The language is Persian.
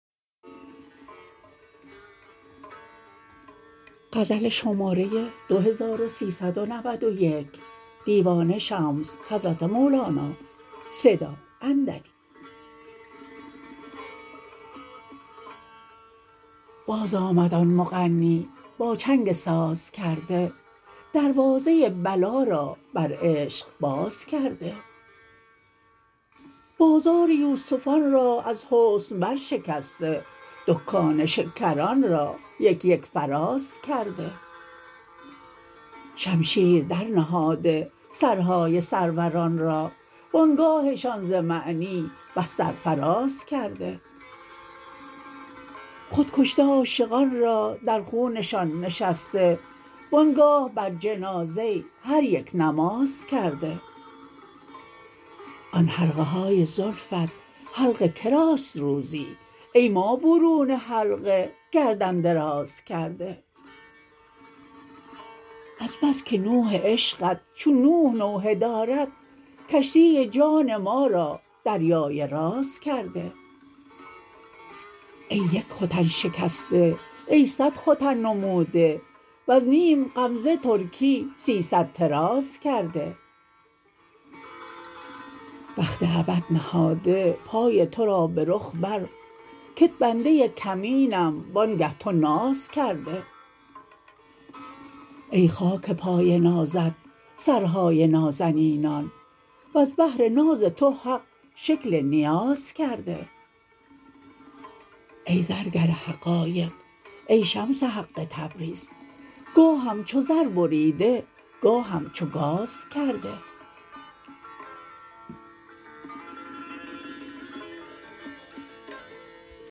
بازآمد آن مغنی با چنگ سازکرده دروازه بلا را بر عشق باز کرده بازار یوسفان را از حسن برشکسته دکان شکران را یک یک فراز کرده شمشیر درنهاده سرهای سروران را و آن گاهشان ز معنی بس سرفراز کرده خود کشته عاشقان را در خونشان نشسته و آن گاه بر جنازه هر یک نماز کرده آن حلقه های زلفت حلق که راست روزی ای ما برون حلقه گردن دراز کرده از بس که نوح عشقت چون نوح نوحه دارد کشتی جان ما را دریای راز کرده ای یک ختن شکسته ای صد ختن نموده وز نیم غمزه ترکی سیصد طراز کرده بخت ابد نهاده پای تو را به رخ بر کت بنده کمینم وآنگه تو ناز کرده ای خاک پای نازت سرهای نازنینان وز بهر ناز تو حق شکل نیاز کرده ای زرگر حقایق ای شمس حق تبریز گاهم چو زر بریده گاهم چو گاز کرده